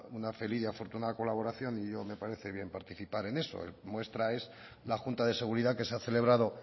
una feliz y afortunada colaboración y me parece bien participar en eso muestra es la junta de seguridad que se ha celebrado